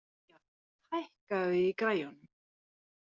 Gía, hækkaðu í græjunum.